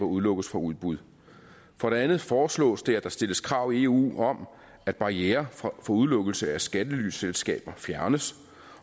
udelukkes fra udbud for det andet foreslås det at der stilles krav i eu om at barrierer for udelukkelse af skattelyselskaber fjernes